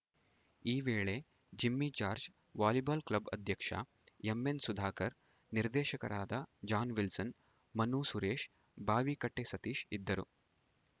ಈ ವೇಳೆ Jimmy George volleyball club ಅಧ್ಯಕ್ಷ ಎಂಎನ್‌ ಸುಧಾಕರ್‌ ನಿರ್ದೇಶಕರಾದ ಜಾನ್‌ವಿಲ್ಸನ್‌ ಮನು ಸುರೇಶ ಬಾವಿಕಟ್ಟೆಸತೀಶ್‌ ಇದ್ದರು